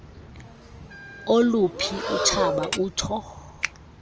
oluphi utshaba utsho